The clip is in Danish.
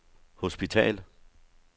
hospital